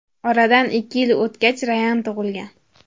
Oradan ikki yil o‘tgach Rayan tug‘ilgan.